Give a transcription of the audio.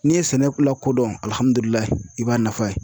N'i ye sɛnɛ lako dɔn i b'a nafa ye.